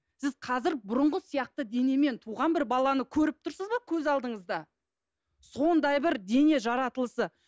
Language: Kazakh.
сіз қазір бұрынғы сияқты денемен туған бір баланы көріп тұрсыз ба көз алдыңызда сондай бір дене жаратылысы